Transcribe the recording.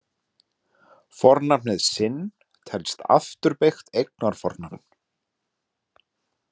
Fornafnið sinn telst afturbeygt eignarfornafn.